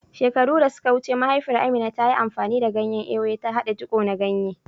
Shekaru da suka wuce, mahaifiyar Amina, ta yi amfani da ganyen Ewe, ta haɗa jiko na ganye.